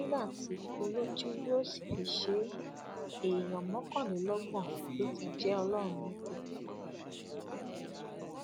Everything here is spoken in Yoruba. nígbà tí olójú yóò sì fi ṣe é èèyàn mọkànlélọgbọn ló ti jẹ ọlọrun nípè